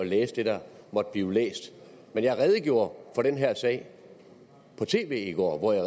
læse det der måtte blive læst men jeg redegjorde for den her sag på tv i går hvor jeg